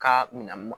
Ka minan